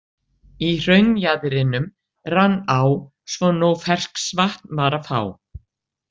Í hraunjaðrinum rann á svo nóg ferskvatn var að fá.